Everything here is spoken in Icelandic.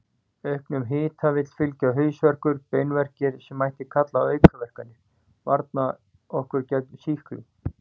Auknum hita vill fylgja hausverkur og beinverkir, sem mætti kalla aukaverkanir varna okkar gegn sýklum.